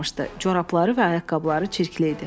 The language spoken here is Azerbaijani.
Corabları və ayaqqabıları çirkli idi.